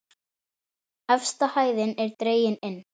Efsta hæðin er dregin inn.